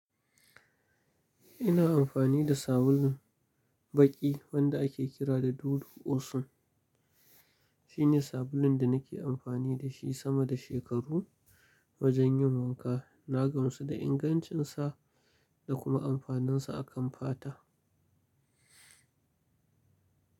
Ina amfani da sabulun baƙi wanda ake kira da Dudu Osun. Shine sabulun da nake amfani da shi sama da shekaru wajen yin wanka. Na gamsu da ingancinsa da kuma amfaninsa a kan fata.